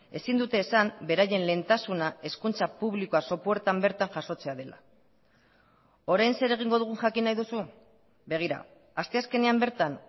ezin dute esan beraien lehentasuna hezkuntza publikoa sopuertan bertan jasotzea dela orain zer egingo dugun jakin nahi duzu begira asteazkenean bertan